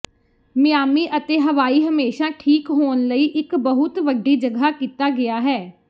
Miami ਅਤੇ Hawaii ਹਮੇਸ਼ਾ ਠੀਕ ਹੋਣ ਲਈ ਇੱਕ ਬਹੁਤ ਵੱਡੀ ਜਗ੍ਹਾ ਕੀਤਾ ਗਿਆ ਹੈ